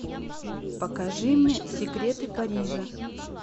покажи мне секреты парижа